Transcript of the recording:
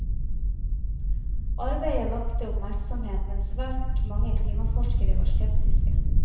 Arbeidet vakte oppmerksomhet, men svært mange klimaforskere var skeptiske.